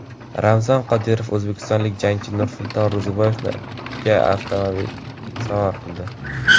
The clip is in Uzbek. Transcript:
Ramzan Qodirov o‘zbekistonlik jangchi Nursulton Ro‘ziboyevga avtomashina sovg‘a qildi.